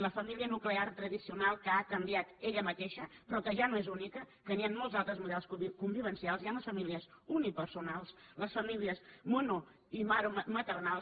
la família nuclear tradicional que ha canviat ella mateixa però que ja no és única que hi ha molts altres models convivencials hi ha les famílies unipersonals les famílies monomaternals